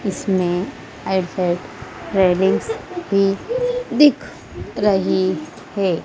इसमें रेलिंग्स भी दिख रही है।